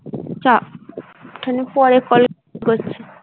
চা পরে পড়ছি।